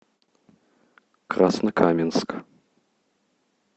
краснокаменск